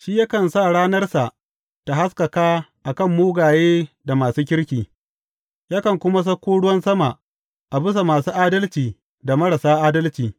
Shi yakan sa ranarsa ta haskaka a kan mugaye da masu kirki; yakan kuma sako ruwan sama a bisa masu adalci da marasa adalci.